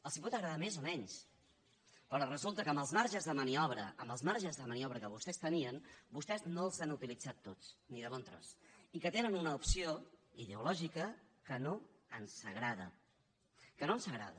els pot agradar més o menys però resulta que els marges de maniobra els marges de maniobra que vostès tenien vostès no els han utilitzat tots ni de bon tros i que tenen una opció ideològica que no ens agrada que no ens agrada